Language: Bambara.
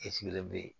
de be yen